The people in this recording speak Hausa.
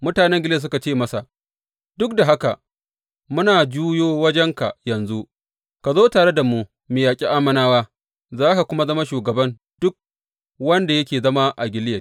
Mutanen Gileyad suka ce masa, Duk da haka, muna juyo wajenka yanzu, ka zo tare da mu mu yaƙi Ammonawa, za ka kuma zama shugaban duk wanda yake zama a Gileyad.